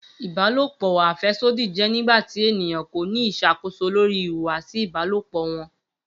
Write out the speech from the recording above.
Ibalopo afẹsodi jẹ nigbati eniyan ko ni iṣakoso lori ihuwasi ibalopo wọn.